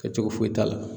Kɛ cogo foyi t'a la